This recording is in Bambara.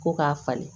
Ko k'a falen